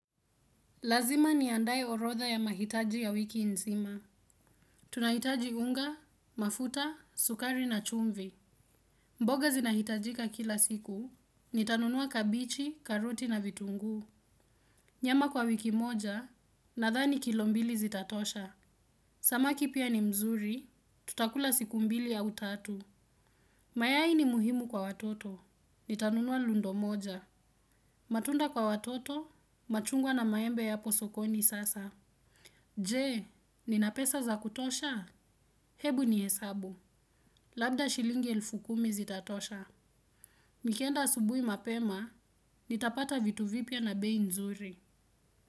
Lazima ni andaye orotha ya mahitaji ya wiki nzima. Tunahitaji unga, mafuta, sukari na chumvi. Mboga zinahitajika kila siku. Nitanunua kabichi, karuti na vitungu. Nyama kwa wiki moja nadhani kilombili zitatosha. Samaki pia ni mzuri, tutakula siku mbili au tatu. Mayai ni muhimu kwa watoto. Nitanunua lundo moja. Matunda kwa watoto, machungwa na maembe yapo sokoni sasa. Je, ninapesa za kutosha? Hebu ni hesabu. Labda shilingi elfu kumi zitatosha. Nikienda asubui mapema, nitapata vitu vipia na bei nzuri.